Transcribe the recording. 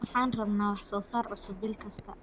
Waxaan rabnaa wax soo saar cusub bil kasta.